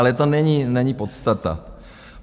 Ale to není podstata.